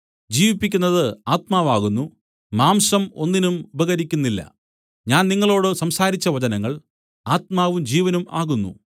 ജീവിപ്പിക്കുന്നത് ആത്മാവ് ആകുന്നു മാംസം ഒന്നിനും ഉപകരിക്കുന്നില്ല ഞാൻ നിങ്ങളോടു സംസാരിച്ച വചനങ്ങൾ ആത്മാവും ജീവനും ആകുന്നു